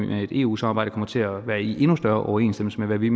med et eu samarbejde kommer til at være i endnu større overensstemmelse med hvad vi